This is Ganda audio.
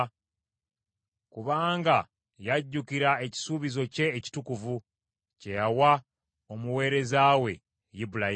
Kubanga yajjukira ekisuubizo kye ekitukuvu kye yawa omuweereza we Ibulayimu.